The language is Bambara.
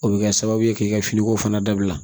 O bɛ kɛ sababu ye k'i ka finiko fana dabila